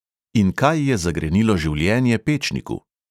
In kaj je zagrenilo življenje pečniku.